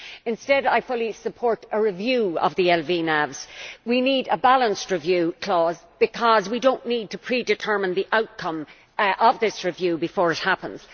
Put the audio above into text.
Instead, I fully support a review of the LVNAVs. We need a balanced review clause because we do not need to predetermine the outcome of this review before it happens.